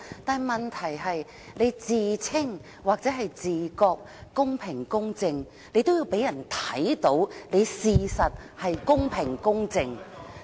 但問題是，你自稱或者自覺得公平公正，也都要讓人看到你的確是公平公正的。